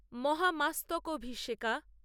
Mahamastakabhisheka